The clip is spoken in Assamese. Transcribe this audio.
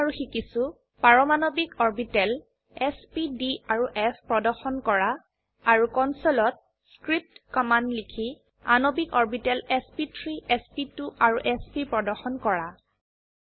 অামি আৰু শিকিছো পাৰমাণবিক অৰবিটেল চ প ডি আৰু ফ প্ৰদৰ্শন কৰা আৰু কোনচলত স্ক্ৰিপ্ট কম্মান্দ লিখি আণবিক অৰবিটেল এছপি3 এছপি2 আৰু এছপি প্ৰদৰ্শন কৰা